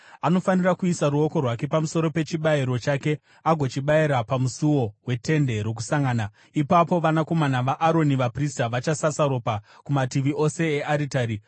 Anofanira kuisa ruoko rwake pamusoro pechibayiro chake agochibayira pamusuo weTende Rokusangana. Ipapo vanakomana vaAroni vaprista vachasasa ropa kumativi ose earitari.